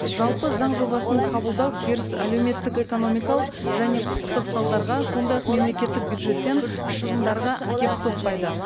жалпы заң жобасын қабылдау теріс әлеуметтік экономикалық және құқықтық салдарға сондай ақ мемлекеттік бюджеттен шығындарға әкеліп соқпайды